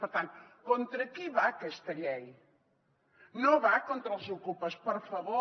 per tant contra qui va aquesta llei no va contra els ocupes per favor